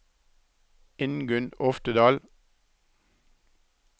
Ingunn Oftedal